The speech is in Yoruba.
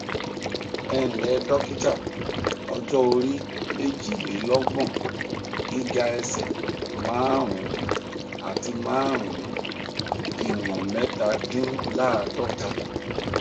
ẹǹlẹ dọkítà ọjọ orí méjìlélọgbọn gíga ẹsẹ márùnún àti márùnún ìwọnmẹtàdínláàádọta